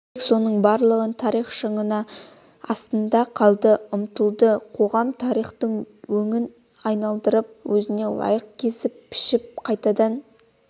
тек соның барлығы тарих шаңының астында қалды ұмытылды қоғам тарихты өңін айналдырып өзіне лайықтап кесіп-пішіп қайтадан